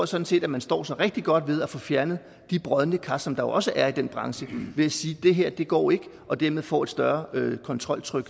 sådan set at man står sig rigtig godt ved at få fjernet de brodne kar som der jo også er i den branche ved at sige at det her ikke går og og dermed få et større kontroltryk